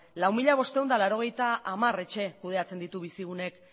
lau mila bostehun eta laurogeita hamar etxe kudeatzen ditu bizigunek